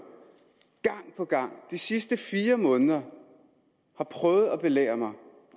gang på gang de sidste fire måneder har prøvet at belære mig om